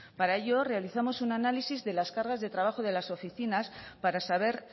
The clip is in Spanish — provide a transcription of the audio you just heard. para ello realizamos un análisis de las cargas de trabajo de las oficinas para saber